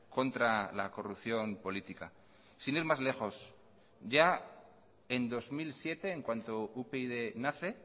contra la corrupción política sin ir más lejos ya en dos mil siete en cuanto upyd nace